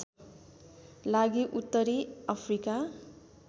लागि उत्तरी अफ्रिका